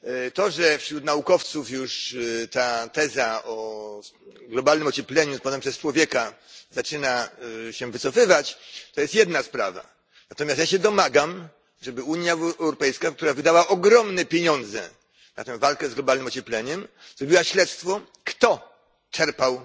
To, że wśród naukowców już ta teza o globalnym ociepleniu spowodowanym przez człowieka zaczyna się wycofywać, to jest jedna sprawa, natomiast ja się domagam, żeby Unia Europejska, która wydała ogromne pieniądze na tę walkę z globalnym ociepleniem, zrobiła śledztwo, kto czerpał